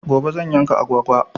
Gobe zan yanka agwagwa.